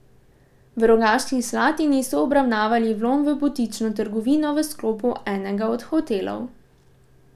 V Rogaški Slatini so obravnavali vlom v butično trgovino v sklopu enega od hotelov.